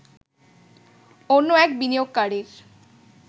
অন্য এক বিনিয়োগকারীর